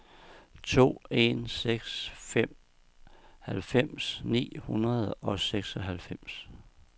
to en seks fem halvfems ni hundrede og seksoghalvfems